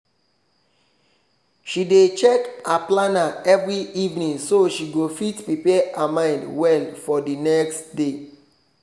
she dey check her planner every evening so she go fit prepare her mind well for the nxt day